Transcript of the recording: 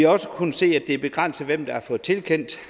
også kunnet se at det er begrænset hvem der har fået tilkendt